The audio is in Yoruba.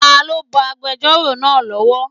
Ta ló bọ agbẹjọ́rò náà lọ́wọ́?